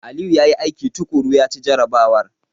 Aliyu ya yi aiki tuƙuru, ya ci jarrabawar.